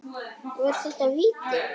Var þetta víti?